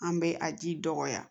An bɛ a ji dɔgɔya